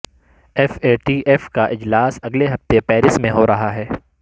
F A T F کا اجلاس اگلے ہفتے پیرس میں ہو رہا ہے